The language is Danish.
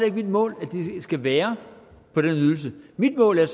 ikke mit mål at de skal være på den ydelse mit mål er